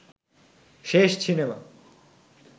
শেষ সিনেমা